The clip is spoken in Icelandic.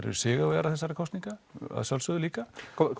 eru sigurvegarar þessara kosninga að sjálfsögðu líka